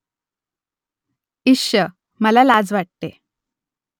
इश्श ! मला लाज वाटते